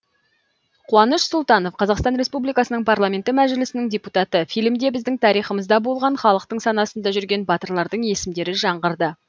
қуаныш сұлтанов қазақстан республикасының парламенті мәжілісінің депутаты фильмде біздің тарихымызда болған халықтың санасында жүрген батырлардың есімдері жаңғырды